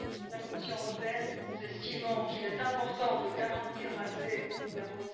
La Commission européenne estime qu'il est important de garantir l'accès au numéro